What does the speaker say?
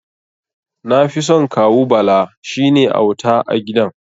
Nafison Kawu Bala, shine auta a gidan.